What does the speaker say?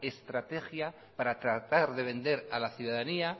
estrategia para tratar de vender a la ciudadanía